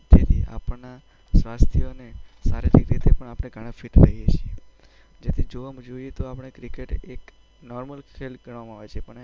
જેથી આપણાં સ્વાસ્થ્ય અને શારીરિક રીતે પણ આપણે ઘણા ફિટ રહીએ છીએ. આમ જોઈએ તો ક્રિકેટ એક નોર્મલ ગેમ ગણવામાં આવે છે,